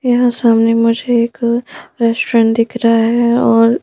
यहां सामने मुझे एक रेस्टोरेंट दिख रहा है और--